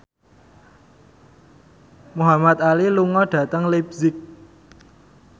Muhamad Ali lunga dhateng leipzig